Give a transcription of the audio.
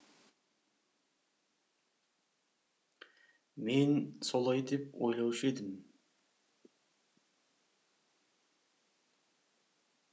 мен солай деп ойлаушы едім